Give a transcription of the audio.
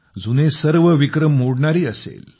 जुने सर्व विक्रम मोडणारी असेल